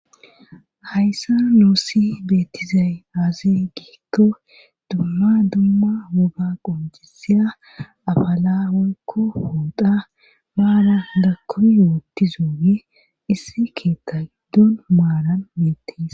Hayssa noossi beettizay aazi giekko dumma dumma wuga qonjisiya afala woykko hooda maala gakkumi yootti zoowe issi keetta giddon maalan meettis.